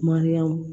Mariyamu